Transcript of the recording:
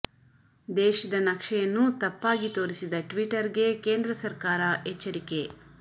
ದೇಶದ ನಕ್ಷೆಯನ್ನು ತಪ್ಪಾಗಿ ತೋರಿಸಿದ ಟ್ವಿಟರ್ ಗೆ ಕೇಂದ್ರ ಸರ್ಕಾರ ಎಚ್ಚರಿಕೆ